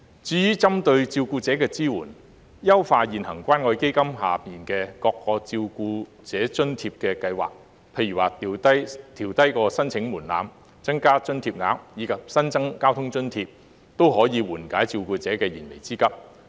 至於針對照顧者的支援，優化現行關愛基金下各項照顧者津貼計劃，例如調低申請門檻、增加津貼額，以及新增交通津貼，均可緩解照顧者的燃眉之急。